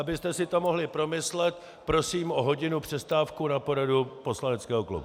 Abyste si to mohli promyslet, prosím o hodinu přestávku na poradu poslaneckého klubu.